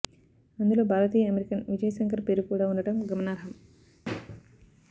అందులో భారతీయ అమెరికన్ విజయ్ శంకర్ పేరు కూడా ఉండటం గమనార్హం